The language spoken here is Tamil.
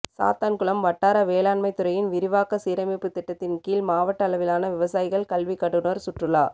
சாத்தான்குளம் வட்டார வேளாண்மைத் துறையின் விரிவாக்க சீரமைப்பு திட்டத்தின் கீழ் மாவட்ட அளவிலான விவசாயிகள் கல்வி கண்டுநா் சுற்றுலா